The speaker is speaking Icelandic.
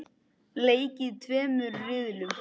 Leikið í tveimur riðlum.